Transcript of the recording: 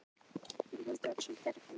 Böðvar þar niður hjá Skalla-Grími.